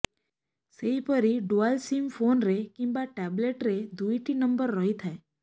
ସେହିପରି dual SIM ଫୋନରେ କିମ୍ବା ଟାବଲେଟରେ ଦୁଇଟି ନମ୍ବର ରହିଥାଏ